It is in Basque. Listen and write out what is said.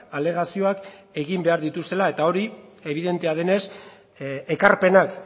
alegazioak egin behar dituztela eta hori ebidentea denez ekarpenak